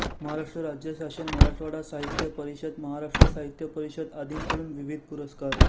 महाराष्ट्र राज्य शासन मराठवाडा साहित्य परिषद महाराष्ट्र साहित्य परिषद आदींकडून विविध पुरस्कार